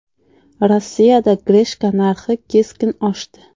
Rossiyada grechka narxi keskin oshdi.